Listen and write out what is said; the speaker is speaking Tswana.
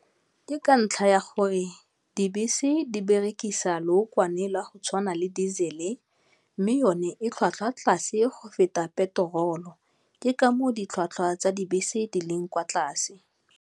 Ke ka ntlha ya gore dibese di berekisa lookwane la go tshwana le diesel-e, mme yone e tlhwatlhwa tlase go feta petrol-o ke ka moo ditlhwatlhwa tsa dibese di leng kwa tlase.